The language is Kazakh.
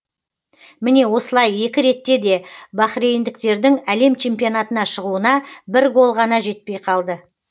міне осылай екі ретте де бахрейндіктердің әлем чемпионатына шығуына бір гол ғана жетпей қалды